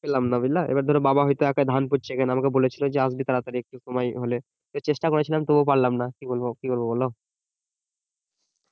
পেলাম না বুঝলে এইবার ধরো বাবা হয়তো এক ধান পুঁতছে এবার আমাকে বলেছিলো যে আসবি তাড়াতাড়ি একটু সময় হলে চেষ্টা করেছিলাম তবু পারলাম না কি বলবো কি বলবো বোলো